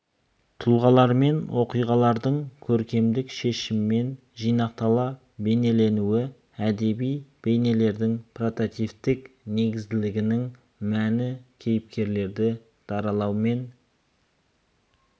тұлғалар мен оқиғалардың көркемдік шешіммен жинақтала бейнеленуі әдеби бейнелердің прототиптік негізділігінің мәні кейіпкерлерді даралау мен